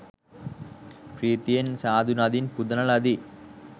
ප්‍රීතියෙන් සාධු නදින් පුදන ලදී.